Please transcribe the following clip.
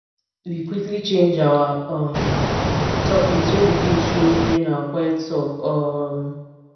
we quickly change our um topics when di kids show during our quiet talk um